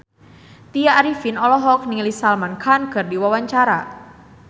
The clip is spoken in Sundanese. Tya Arifin olohok ningali Salman Khan keur diwawancara